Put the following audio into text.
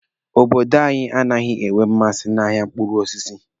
Obodo anyi anaghị enwe mmasị n'ahịa mkpụrụ osisi.